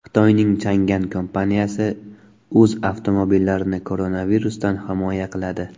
Xitoyning Changan kompaniyasi o‘z avtomobillarini koronavirusdan himoya qiladi.